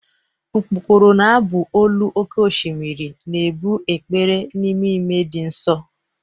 Mkpokoro na-abụ olu oké osimiri, na-ebu ekpere n'ememe dị nsọ.